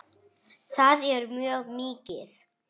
Það er mjög mikið.